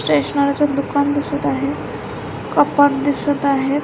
स्टेशनरीच दुकान दिसत आहे कपाट दिसत आहेत.